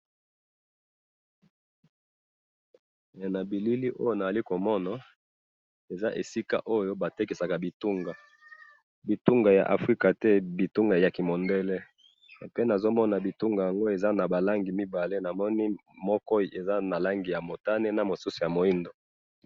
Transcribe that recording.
Na bilili oyo nazali komona eza esika oyo batekisaka bitunga .bitunga ya afrika te bitunga ya kimondele et puis nazomona bitunga yango eza na ba langi mibale ,namoni moko eza na langi ya motane na mosusu ya moindo